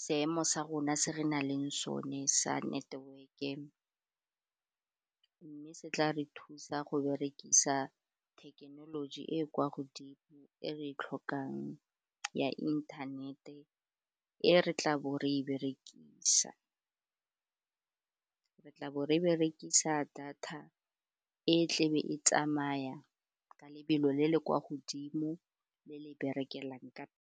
seemo sa rona se re nang le sone sa network-e mme se tla re thusa go berekisa thekenoloji e kwa godimo e re tlhokang ya inthanete, e re tla bo re berekisa re tla bo re berekisa data e tlebe e tsamaya ka lebelo le le kwa godimo le le berekelang ka.